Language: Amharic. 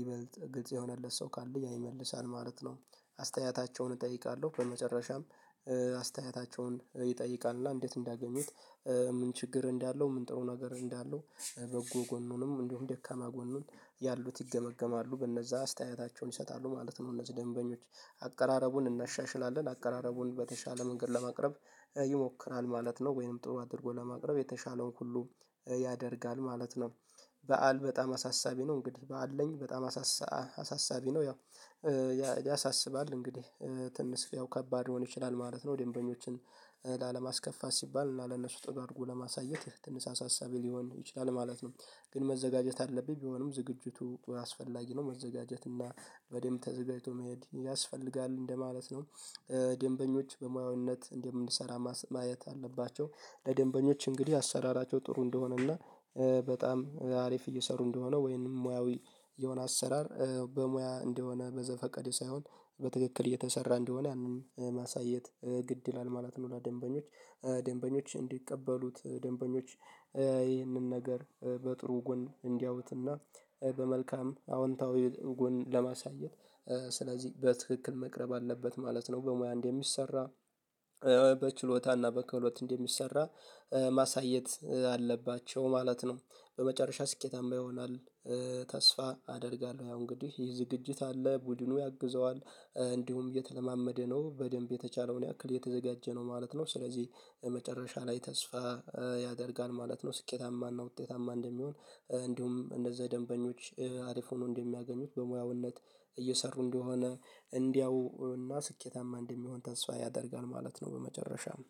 ይበልጥ ግልጽ የሆነለት ሰው ካለ ያ ይመልሳል ማለት ነው አስተያየታቸውን እጠይቃለሁ በመጨረሻም ይጠይቃል እና እንዴት እንዳገኙት ምን ችግር እንዳለው ምን ጥሩ ነገር እንዳለው በጎ ጎኑንም እንደውም ደካማ ጎኑን ያሉት ይገመገማሉ በነዛ አስተያየታቸውን ይሰጣሉ ማለት ነው እነዚህ ደንበኞች አቀራረቡን እናሻሽላለን አቀራረቡን በተሻለ መንገድ ለማቅረብ ይሞክራል ማለት ነው ወይንም ጥሩ አድርጎ ለማቅረብ የተቻለውን ሁሉ ያደርጋል ማለት ነው በዓል በጣም አሳሳቢ ነው እንግዲህ በዓል ነኝ በጣም አሳሳቢ ነው ያው ያሳስባል እንግዲህ ትንሽ ያው ከባድ ሊሆን ይችላል ማለት ነው ደንበኞችን ላለማስከፋት ሲባል እና ለነሱ ጥሩ አድርጎ ለማሳየት ትንሳሳ ሀሳቤ ሊሆን ይችላል ማለት ነው ግን መዘጋጀት አለብኝ ቢሆንም ዝግጅቱ አስፈላጊ ነው መዘጋጀት እና በደንብ ተዘጋጅቶ መሄድ ያስፈልጋል እንደማለት ነው ደንበኞች በሙያውነት እንደምንሰራ ማየት አለባቸው ለደንበኞች እንግዲህ አሰራራቸው ጥሩ እንደሆነና በጣም አሪፍ እየሰሩ እንደሆነ ወይንም ሙያዊ የሆነ አሰራር በሙያ እንደሆነ በዘፈቀደ ሳይሆን በትክክል እየተሰራ እንደሆነ ያንን ማሳየት ግድ ይላል ማለት ነው ለደንበኞች ደንበኞች እንዲቀበሉት ደንበኞች ይህንን ነገር በጥሩ ጎን እንዲያውትና በመልካም አዎንታዊ ጎን ለማሳየት ስለዚህ በትክክል መቅረብ አለበት ማለት ነው በሙያ እንደሚሰራ በችሎታና በክህሎት እንደሚሰራ ማሳየት አለባቸው ማለት ነው በመጨረሻ ስኬታማ ይሆናል ተስፋ አደርጋለሁ ያው እንግዲህ ይሄ ዝግጅት አለ ቡድኑ ያግዘዋል እንዲሁም የተለማመደ ነው በደንብ የተቻለውን ያክል እየተዘጋጀ ነው ማለት ነው ስለዚህ መጨረሻ ላይ ተስፋ ያደርጋል ማለት ነው ስኬታማና ውጤታማ እንደሚሆን እንዲሁም እነዛ ደንበኞች አሪፍ ሆኖ እንደሚያገኙት በሙያውነት እየሰሩ እንደሆነ እንዲያው እና ስኬታማ እንደሚሆን ተስፋ ያደርጋል ማለት ነው በመጨረሻም።